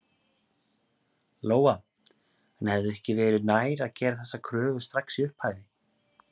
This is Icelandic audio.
Lóa: En hefði ekki verið nær að gera þessar kröfur strax í upphafi?